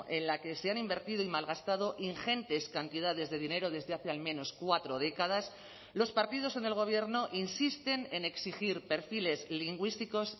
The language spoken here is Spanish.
en la que se han invertido y malgastado ingentes cantidades de dinero desde hace al menos cuatro décadas los partidos en el gobierno insisten en exigir perfiles lingüísticos